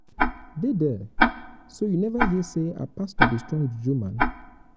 dey there. so you never hear say our pastor be strong juju man.